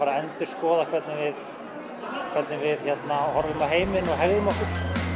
endurskoða hvernig við horfum á heiminn og hegðum okkur hönnunarneminn